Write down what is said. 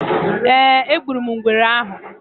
Eeh, egburum ngwere ahụ